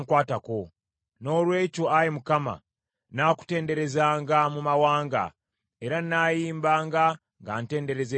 Noolwekyo, Ayi Mukama , nnaakutenderezanga mu mawanga, era nnaayimbanga nga ntendereza erinnya lyo.